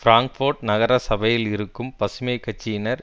Frankfurt நகர சபையில் இருக்கும் பசுமை கட்சியினர்